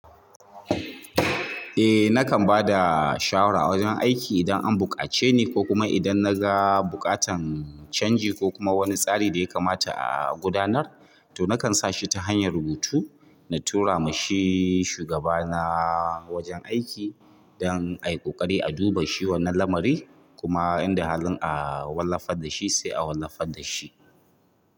Eh nakan ba da shawara a wajen aiki idan an buƙace ni ko kuma idan na ga buƙatan changi ko kuma wani tsari da ya kamata a gudanar to nakan sa shi ta hanyar rubutu na tura ma shi shugaba na wajen aiki don a yi ƙoƙari a duba shi wannan lamari kuma inda halin a wallafa da shi sai a wallafa da shi.